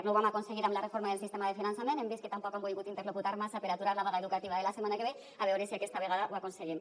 no ho vam aconseguir amb la reforma del sistema de finançament hem vist que tampoc han volgut interlocutar massa per aturar la vaga educativa de la setmana que ve a veure si aquesta vegada ho aconseguim